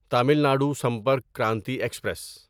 تعمیل ندو سمپرک کرانتی ایکسپریس